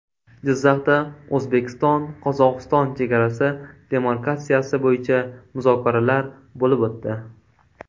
Jizzaxda O‘zbekistonQozog‘iston chegarasi demarkatsiyasi bo‘yicha muzokaralar bo‘lib o‘tdi.